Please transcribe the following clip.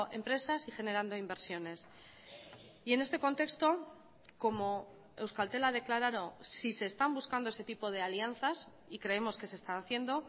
empresas y generando inversiones y en este contexto como euskaltel ha declarado si se están buscando ese tipo de alianzas y creemos que se está haciendo